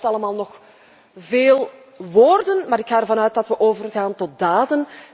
Dat blijft allemaal nog bij veel woorden, maar ik ga ervan uit dat we overgaan tot daden.